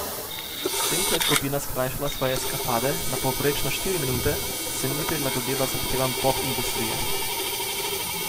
S tem ko je skupina skrajšala svoje eskapade na povprečno štiri minute, se ni prilagodila zahtevam pop industrije.